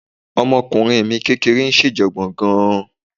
Ọmọkùnrin mi kékeré ń ṣèjọ̀gbọ̀n gan-an